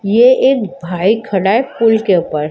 ये एक भाई खड़ा है पूल के ऊपर--